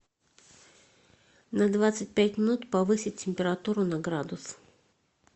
на двадцать пять минут повысить температуру на градус